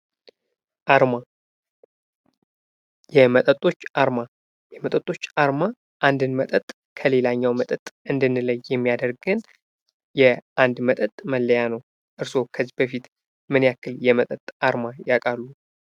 አርማ የመጠርጦች አርማ አንዱን መጠጥ ከሌለኛው መጠጥ እንድንለ የሚያደርጉን አንድ መጠጥ መለያ ነው። እርስዎ ከዚህ በፊት ምን የክል የመጠጥ አርማ ያውቃሉ?